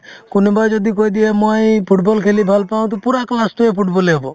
কোনোবাই যদি কৈ দিয়ে মই football খেলি ভাল পাওঁ to পূৰা class তোয়ে football য়ে হ'ব